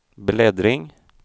bläddring